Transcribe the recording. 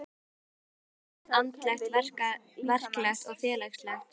Þar styður hvað annað, andlegt, verklegt og félagslegt.